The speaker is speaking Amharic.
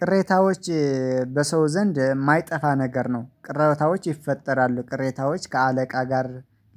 ቅሬታዎች በሰው ዘንድ የማይጠፋ ነገር ነው። ቅሬታዎች ይፈጠራሉ ቅሬታዎች ከአለቃ ጋር